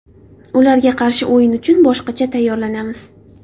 Ularga qarshi o‘yin uchun boshqacha tayyorlanamiz.